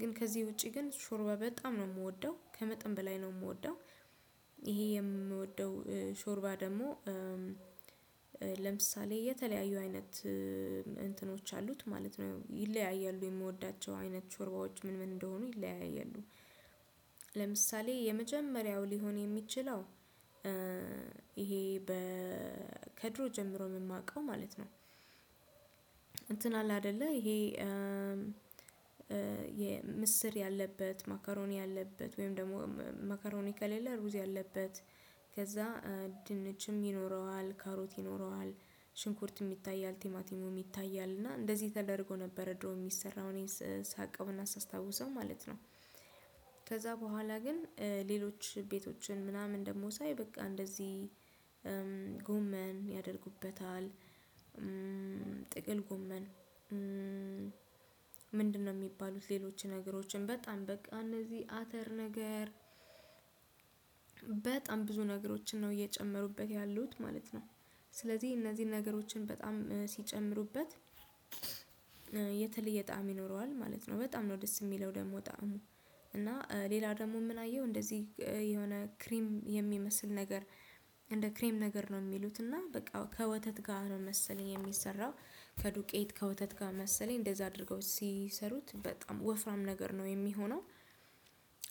ግን ከዚህ ውጪ ግን ሾርባ በጣም ነው የምወደው ከመጠን በላይ ነው የምወደው። ይሄ የምወደው ሾርባ ደግሞ ለምሳሌ የተለያዩ አይነት እንትኖች አሉት ማለት ነው ይለያያሉ የምወዳቸው አይነት ቾርባዎች ምን ምን እንደሆኑ ይለያያሉ። ለምሳሌ የመጀመሪያው ሊሆን የሚችለው ይሄ በ ከድሮ ጀምሮ የማውቀው ማለት ነው። እንትን አለ አይደለ ይሄ ምስር ያለበት ማካሮኒ ያለበት ወይም ደግሞ ማካሮኒ ከሌለ ሩዝ ያለበት ከዛ ድንችም ይኖረዋል ካሮት ይኖረዋል ሽንኩርት የሚታይ አልቲማቲሙ የሚታይ አልና እንደዚህ ተደርጎ ነበር ድሮ የሚሰራውን ሳቀውና አስታውሰው ማለት ነው። ከዛ በኋላ ግን ሌሎች ቤቶችን ምናምን ደግሞ ሳይ በቃ እንደዚህ ጎመን ያደርጉበታል። ጥቅል ጎመን ምንድነው የሚባሉት ሌሎች ነገሮችን በጣም በቃ እነዚህ አተር ነገር በጣም ብዙ ነገሮችን ነው እየጨመሩበት ያሉት ማለት ነው። ስለዚህ እነዚህን ነገሮችን በጣም ሲጨምሩበት የተለየ ጣዕም ይኖረዋል ማለት ነው በጣም ነው ደስ የሚለው ደግሞ ጣዕሙ። እና ሌላ ደግሞ ምን አየው እንደዚህ የሆነ ክሪም የሚመስል ነገር እንደ ክሪም ነገር ነው የሚሉት እና በቃ ከወተት ጋር ነው መሰለኝ የሚሰራው። ከዱቄት ከወተት ጋር መሰለኝ እንደዛ አድርገው ሲሰሩት በጣም ወፍራም ነገር ነው የሚሆነው።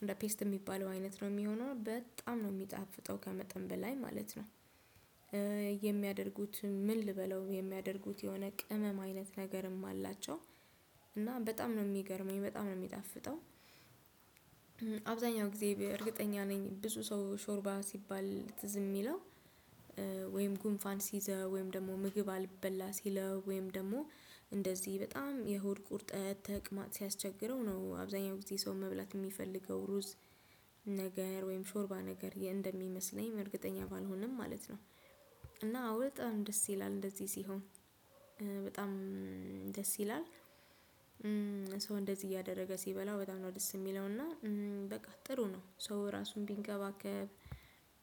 እንደ ፔስት የሚባለው አይነት ነው የሚሆነው በጣም ነው የሚጣፍጠው ከመጠን በላይ ማለት ነው። የሚያደርጉት ምን ልበለው የሚያደርጉት የሆነ ቅመም አይነት ነገርም አላቸው። እና በጣም ነው የሚገርመኝ በጣም ነው የሚጣፍጠው። አብዛኛው ጊዜ እርግጠኛ ነኝ ብዙ ሰው ሾርባ ሲባል ትዝ የሚለው። ወይም ጉንፋን ሲይዘው ወይም ደግሞ ምግብ አልበላ ሲለው ወይም ደግሞ እንደዚህ በጣም የሆድ ቁርጠት ተቅማጥ ሲያስቸግረው ነው አብዛኛው ጊዜ ሰው መብላት የሚፈልገው ሩዝ ነገር ወይም ሾርባ ነገር እንደሚመስለኝ እርግጠኛ ባልሆንም ማለት ነው። እና በጣም ደስ ይላል እንደዚህ ሲሆን በጣም ደስ ይላል። ሰው እንደዚህ እያደረገ ሲበላ በጣም ነው ደስ የሚለው እና በቃ ጥሩ ነው ሶ ራሱን ቢንከባከብ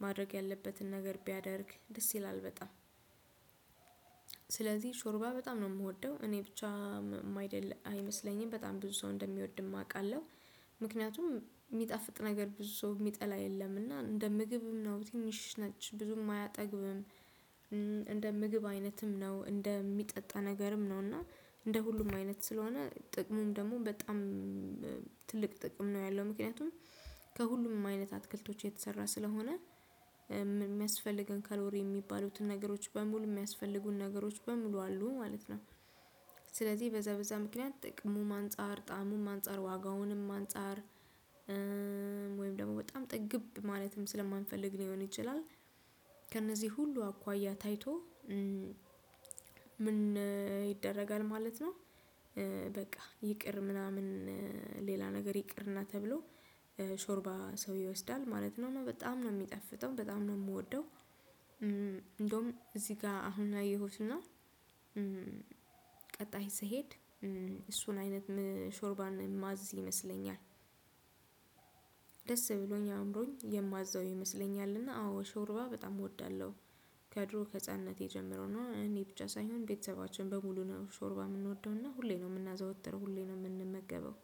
ማድረግ ያለበትን ነገር ቢያደርግ ደስ ይላል በጣም። ስለዚህ ሾርባ በጣም ነው የምወደው እኔ ብቻ ያአይደለ አይመስለኝም በጣም ብዙ ሰው እንደሚወድም አውቃለሁ። ምክንያቱም የሚጠፍጥ ነገር ብዙ ሰው የሚጠላ የለም እና እንደ ምግብም ነው ትንሽ ነች ብዙም አያጠግብም። እንደ ምግብ አይነትም ነው እንደ እንደሚጠጣ ነገርም ነው እና እንደ ሁሉም አይነት ስለሆነ ጥቅሙም ደግሞ በጣም ትልቅ ጥቅም ነው ያለው ምክንያቱም ከሁሉም አይነት አትክልቶች የተሰራ ስለሆነ የሚያስፈልገን ካሎሪ የሚባሉትን ነገሮች በሙሉ የሚያስፈልጉን ነገሮች በሙሉ አሉ ማለት ነው። ስለዚህ በዛ በዛ ምክንያት ከጥቅሙም አንፃር ከጣሙም አንፃር ከዋጋውም አንፃር ወይም ደግሞ በጣም ጥግብ ማለትም ስለማንፈልግ ሊሆን ይችላል። ከነዚህ ሁሉ አኳያ ታይቶ ምን ይደረጋል ማለት ነው። በቃ ይቅር ምናምን ሌላ ነገር ይቅርና ተብሎ ሾርባ ሰው ይወስዳል ማለት ነው በጣም ነው የሚጠፍጠው በጣም ነው የምወደው። እንደውም እዚህ ጋር አሁን ላየሁትና ቀጣይ ስሄድ እሱን አይነት ሾርባን የማዝ ይመስለኛል። ደስ ብሎኝ አእምሮኝ የማዛው ይመስለኛልና አዎ ሾርባ በጣም እወዳለሁ። ከድሮ ከህፃንቴ ጀምሮ ነው እኔ ብቻ ሳይሆን ቤተሰባቸም በሙሉ ነው ሾርባ የምንወደውና ሁሌ ነው የምናዘወትር ሁሌ ነው የምንመገበው።